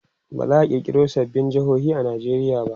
baza'a kirkiro sababbin jehohi a Nigeria ba